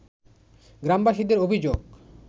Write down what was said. গ্রামবাসীদের অভিযোগ